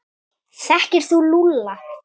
Þekkir þú Lúlla?